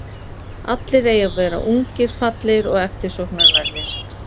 Allir eiga að vera ungir, fallegir og eftirsóknarverðir.